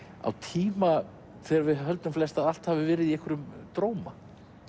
á tíma þegar við höldum flest að allt hafi verið í einhverjum dróma